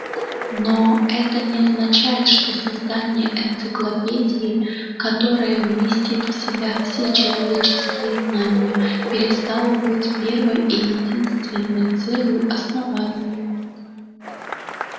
но это не означает что создание энциклопедии которая вместит в себя все человеческие знания перестало быть первой и единственной целью основания